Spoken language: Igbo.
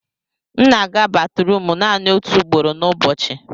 m na-aga batrum naanị otu ugboro n'ụbọchị